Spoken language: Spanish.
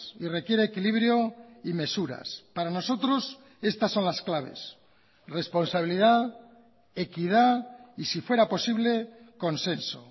y requiere equilibrio y mesuras para nosotros estas son las claves responsabilidad equidad y si fuera posible consenso